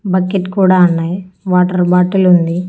Bucket కూడా ఉన్నాయి water bottle ఉంది.